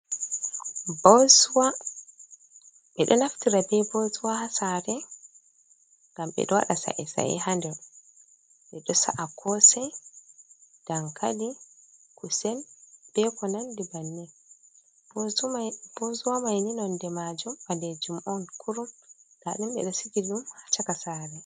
Bosuwa, bedo naftira bei botuwa hasare, gambeda wada sa’i sai handel, be do sa’a kosai dankali kusen bekonan dibannin, bozuwa maininonde majum a de jum'on kurum dadinbedsikidum haccaka sare.